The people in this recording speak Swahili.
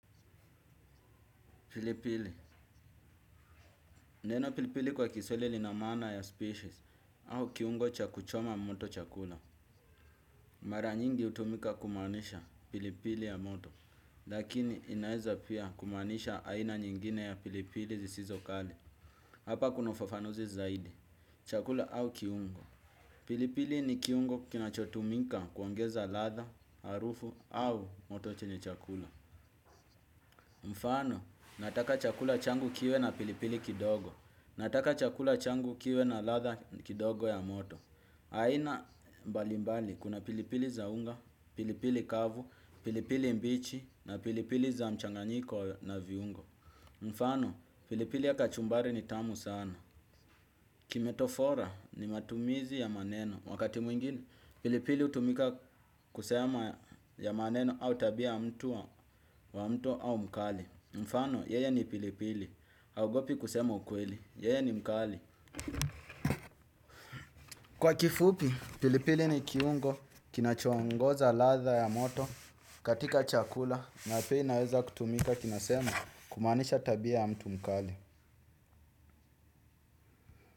Pilipili, neno pilipili kwa kiswahili lina maana ya species au kiungo cha kuchoma moto chakula. Mara nyingi hutumika kumaanisha pilipili ya moto. Lakini inaeza pia kumaanisha aina nyingine ya pilipili zisizo kali. Hapa kuna ufafanuzi zaidi. Chakula au kiungo. Pilipili ni kiungo kinachotumika kuongeza ladha, harufu au moto chenye chakula. Mfano, nataka chakula changu kiwe na pilipili kidogo. Nataka chakula changu kiwe na ladha kidogo ya moto. Aina mbalimbali kuna pilipili za unga, pilipili kavu, pilipili mbichi na pilipili za mchanganyiko na viungo. Mfano, pilipili ya kachumbari ni tamu sana. Kimetofora ni matumizi ya maneno. Wakati mwingine, pilipili hutumika kusema ya maneno au tabia mtu wa mtu au mkali. Mfano, yeye ni pilipili. Haogopi kusema ukweli. Yeye ni mkali. Kwa kifupi, pilipili ni kiungo kinachoongoza ladha ya moto katika chakula na pia inaweza kutumika kinasema kumaanisha tabia ya mtu mkali.